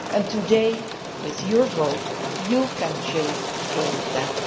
Today, with your vote, you can change all that.